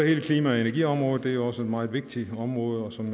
hele klima og energiområdet det er også et meget vigtigt område og som